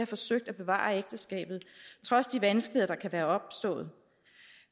forsøgt at bevare ægteskabet trods de vanskeligheder der kan være opstået